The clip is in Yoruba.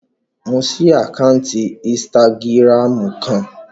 Mo ṣí àkáǹtì ínstágíráàmù kan